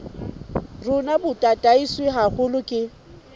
rona bo tataiswe haholo ke